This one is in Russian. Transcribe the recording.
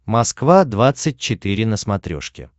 москва двадцать четыре на смотрешке